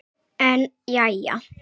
En jæja.